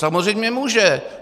Samozřejmě může.